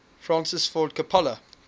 francis ford coppola